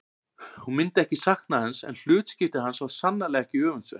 Hún myndi ekki sakna hans en hlutskipti hans var sannarlega ekki öfundsvert.